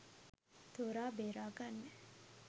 තෝරාබේරා ගන්න